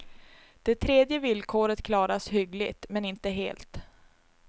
Det tredje villkoret klaras hyggligt, men inte helt.